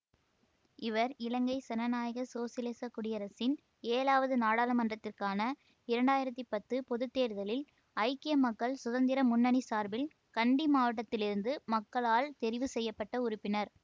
இவர் இலங்கை சனநாயக சோசியலிசக் குடியரசின் ஏழாவது நாடாளுமன்றத்திற்கான இரண்டாயிரத்தி பத்து பொது தேர்தலில் ஐக்கிய மக்கள் சுதந்திர முன்னணிசார்பில் கண்டி மாவட்டத்திலிருந்து மக்களால் தெரிவு செய்ய பட்ட உறுப்பினர்